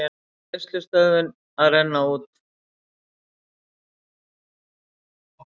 Greiðslustöðvun að renna út